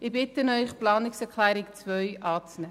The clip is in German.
Ich bitte Sie, die Planungserklärung 2 anzunehmen.